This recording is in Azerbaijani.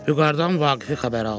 Vüqardan Vaqifi xəbər aldı.